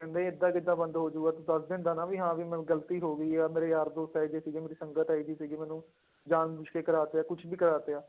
ਕਹਿੰਦੇ ਏਦਾਂ ਕਿੱਦਾਂ ਬੰਦ ਹੋ ਜਾਊਗਾ ਤੂੰ ਦੱਸ ਦਿੰਦਾ ਨਾ ਵੀ ਹਾਂ ਵੀ ਮੈਂ ਗ਼ਲਤੀ ਹੋ ਗਈ ਆ, ਮੇਰੇ ਯਾਰ ਦੋਸਤ ਇਹ ਜਿਹੇ ਸੀਗੇ ਮੇਰੀ ਸੰਗਤ ਇਹ ਜਿਹੀ ਸੀਗੀ ਮੈਨੂੰ ਜਾਣ ਬੁੱਝ ਕੇ ਕਰਵਾ ਤੇ ਆ ਕੁਛ ਵੀ ਕਰਵਾ ਤੇ ਆ,